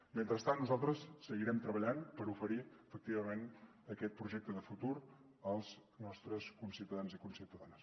mentrestant nosaltres seguirem treballant per oferir efectivament aquest projecte de futur als nostres conciutadans i conciutadanes